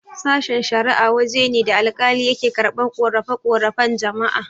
Sashen-shara'a waje ne da alkali yake karɓan ƙorafe-ƙorafen jama'a.